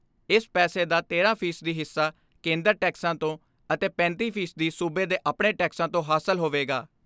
ਇਸ ਪੈਸੇ ਦਾ ਤੇਰਾਂ ਫ਼ੀ ਸਦੀ ਹਿੱਸਾ ਕੇਂਦਰ ਟੈਕਸਾਂ ਤੋਂ ਅਤੇ ਪੈਂਤੀ ਫ਼ੀ ਸਦੀ ਸੂਬੇ ਦੇ ਆਪਣੇ ਟੈਕਸਾਂ ਤੋਂ ਹਾਸਲ ਹੋਵੇਗਾ।